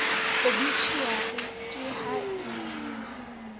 obitjhuari ka ha le ne